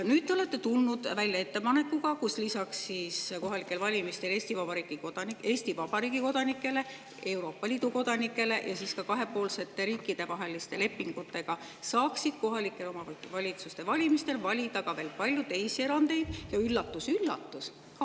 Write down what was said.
Nüüd te olete tulnud välja ettepanekuga, et lisaks Eesti Vabariigi kodanikele, Euroopa Liidu kodanikele ja kahepoolsete riikidevaheliste lepingute saaksid kohalike omavalitsuste valimistel valida veel paljud teised erandid ja – üllatus-üllatus!